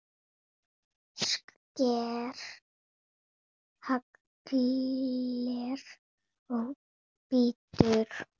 Sker haglél og bítur.